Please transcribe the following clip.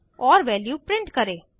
और value print करें